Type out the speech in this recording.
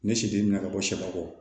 Ne si tɛmɛna ka bɔ sɛkɔ